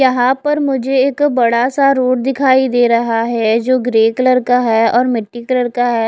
यहा पर मुझे एक बड़ा सा रोड दिखाई दे रहा है जो ग्रे कलर का है मिट्टी कलर का है।